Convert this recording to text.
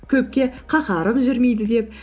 көпке қаһарым жүрмейді деп